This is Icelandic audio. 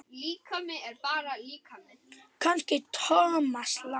Kannski Thomas Lang?